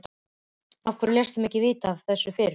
Af hverju léstu mig ekki vita af þessu fyrr?